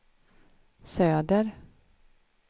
söder